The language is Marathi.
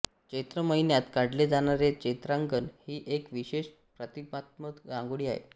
चैत्र महिन्यात काढले जाणारे चैत्रांगण ही एक विशेष प्रतीकात्मक रांगोळी आहे